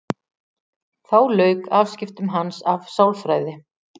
Þá lauk afskiptum hans af sálfræði.